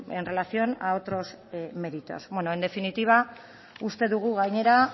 en relación a otros méritos bueno en definitiva uste dugu gainera